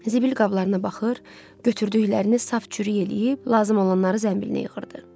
Zibil qablarına baxır, götürdüklərini saf-çürük eləyib, lazım olanları zənbilinə yığırdı.